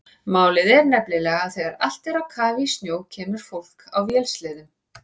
Málið er nefnilega að þegar allt er á kafi í snjó kemur fólk á vélsleðum.